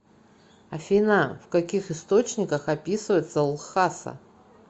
афина в каких источниках описывается лхаса